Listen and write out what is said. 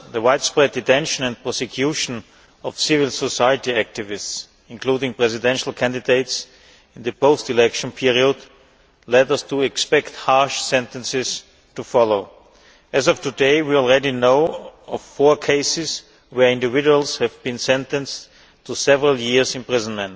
The widespread detention and prosecution of civil society activists, including presidential candidates, in the post election period led us to expect harsh sentences to follow. As of today, we already know of four cases where individuals have been sentenced to several years in prison.